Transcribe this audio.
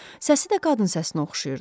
Səsi də qadın səsinə oxşayırdı.